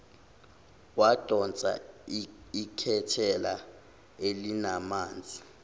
wadonsa iketela elinamanzi